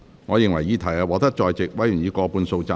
我認為議題獲得在席委員以過半數贊成。